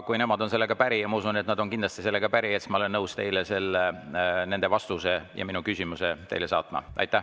Kui nemad on sellega päri – ma arvan, et nad on kindlasti sellega päri –, siis ma olen nõus teile nende vastuse ja minu küsimuse saatma.